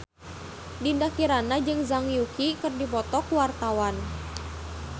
Dinda Kirana jeung Zhang Yuqi keur dipoto ku wartawan